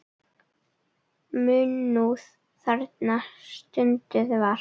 Munúð þarna stunduð var.